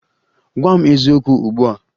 Gwa m eziokwu ugbu a!